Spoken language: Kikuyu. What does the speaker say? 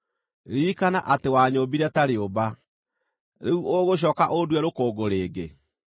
Ririkana atĩ wanyũũmbire ta rĩũmba. Rĩu ũgũcooka ũndue rũkũngũ rĩngĩ?